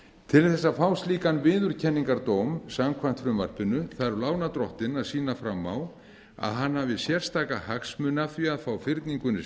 til þess að fá slíkan viðurkenningardóm samkvæmt frumvarpinu þarf lánardrottinn að sýna fram á að hann hafi sérstaka hagsmuni af því að fá fyrningunni